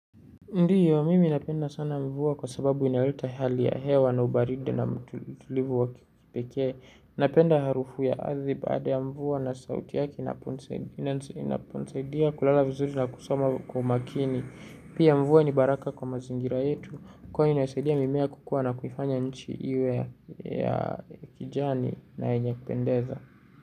Ndiyo, mimi napenda sana mvua kwa sababu inaleta hali ya hewa na ubaridi na utulivu wa kipekee. Napenda harufu ya ardhi baada ya mvua na sauti yake inaponisaidia kulala vizuri na kusoma kwa umakini. Pia mvua ni baraka kwa mazingira yetu kuwa inasaidia mimea kukua na kuifanya nchi iwe ya kijani na yenye kupendeza.